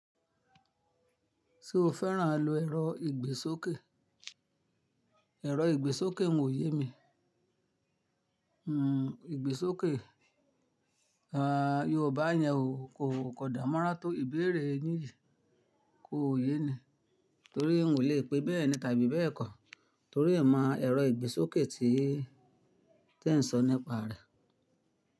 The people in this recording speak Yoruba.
Ṣé o fẹ́ràn àlọ́ ẹ̀rọ ìgbésókè? Ẹ̀rọ ìgbésókè ò ye mi. Hmm, ìgbésókè, à, Yorùbá yẹn o kò, kò dan mo ran tó ìbéèrè yin yiiì, kò yé ni. Torí n ò lè pè bẹ́ẹ̀ ni tàbí bẹ́ẹ̀ kọ́ torí è mi o mo ẹ̀rọ ìgbésókè tí, tí ẹ ń sọ nípa rẹ̀.